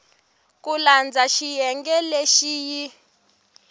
ku landza xiyenge lexi yi